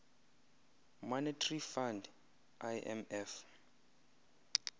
monetary fund imf